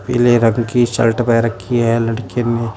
पीले रंग की शर्ट पेहन रखी है लड़के ने।